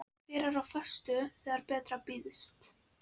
Hver er á föstu þegar betra býðst?